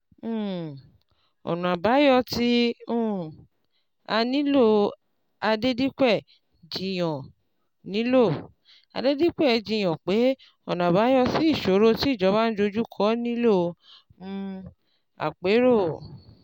um Ọ̀nà àbáyọ tí um a nílò: Adedipe jiyàn nílò: Adedipe jiyàn pé ọ̀nà àbáyọ sí ìṣòro tí ìjọba ndojú kọ nílò um àpérò.